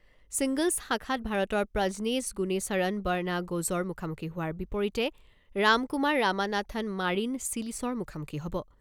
Singles শাখাত ভাৰতৰ Prajnesh Gunneswaran Borna গ'জ'ৰ মুখামুখি হোৱাৰ বিপৰীতে ৰামকুমাৰ ৰামানাথন মাৰিন চিলিছৰ মুখামুখি হ'ব।